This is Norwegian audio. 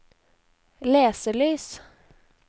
leselys